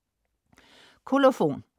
Kolofon